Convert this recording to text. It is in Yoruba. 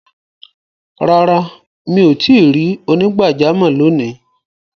Rárá, mi o tìí rí onígbàjàmọ̀ lóní.